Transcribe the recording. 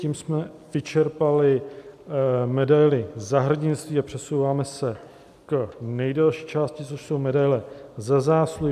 Tím jsme vyčerpali medaili Za hrdinství a přesouváme se k nejdelší části, což jsou medaile Za zásluhy.